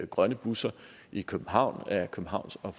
grønne busser i københavn af københavns og